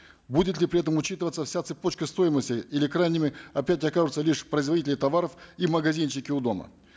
будет ли при этом учитываться вся цепочка стоимости или крайними опять окажутся лишь производители товаров и магазинчики у дома